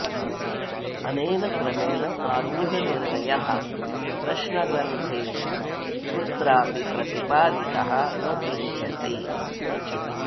अनेन क्रमेण आरूढनिर्णयः प्रश्नग्रन्थेषु कुत्रापि प्रतिपादितः न दृश्यते